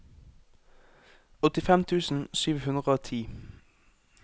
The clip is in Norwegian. åttifem tusen sju hundre og ti